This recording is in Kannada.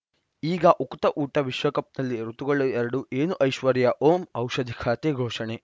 ಈಗ ಉಕುತ ಊಟ ವಿಶ್ವಕಪ್‌ನಲ್ಲಿ ಋತುಗಳು ಎರಡು ಏನು ಐಶ್ವರ್ಯಾ ಓಂ ಔಷಧಿ ಖಾತೆ ಘೋಷಣೆ